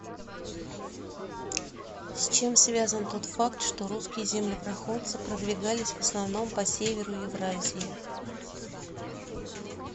с чем связан тот факт что русские землепроходцы продвигались в основном по северу евразии